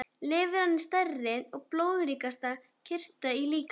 Lifrin er stærsti og blóðríkasti kirtill líkamans.